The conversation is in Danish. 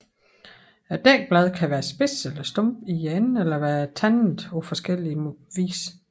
Dækbladet kan være spids eller stump i enden eller være tandet på forskellig vis